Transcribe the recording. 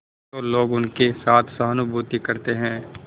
तो लोग उनके साथ सहानुभूति करते हैं